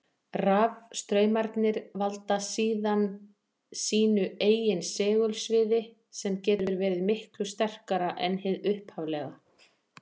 Rafstraumarnir valda síðan sínu eigin segulsviði, sem getur verið miklu sterkara en hið upphaflega.